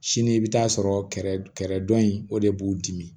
Sini i bɛ taa sɔrɔ kɛrɛdɔ in o de b'u dimi